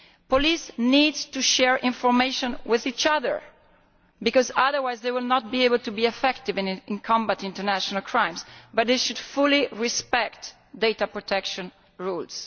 Police need to share information with each other, because otherwise they will not be able to be effective in combating international crimes. But they should fully respect data protection rules.